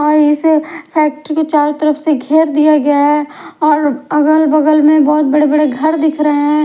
और इस फैक्ट्री को चारों तरफ से घेर दिया गया है और अगल बगल में बहुत बड़े बड़े घर दिख रहे हैं।